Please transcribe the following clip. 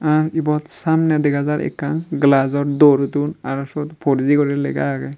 ar ibot samney dega jar ekkan glajor door don aro siyot four g guri lega agey.